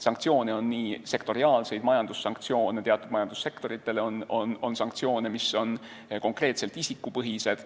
Sanktsioone on ka sektoriaalseid ja teatud majandussektoritele on sanktsioone, mis on konkreetselt isikupõhised.